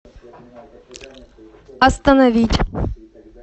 остановить